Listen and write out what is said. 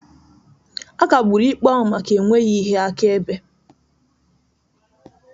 A kagburu ikpe ahụ maka enweghị ihe akaebe.